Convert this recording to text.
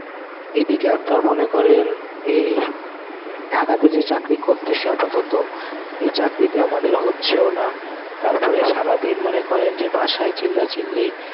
এদিকে আপনারা মনে করেন এই ঢাকাতে যে চাকরি করতেছি আপাতত. এই চাকরিতে আমাদের হচ্ছেও না. তারপরে সারাদিন মনে করেন যে বাসায় চিল্লাচিল্লি